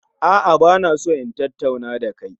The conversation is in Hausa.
A'a, ba na so in tattauna da kai